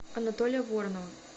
анатолия воронова